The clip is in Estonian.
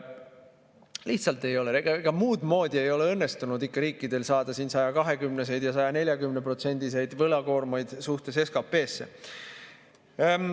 Lihtsalt muudmoodi ei ole õnnestunud riikidel saada 120%-lisi ja 140%‑lisi võlakoormaid suhtes SKP‑sse.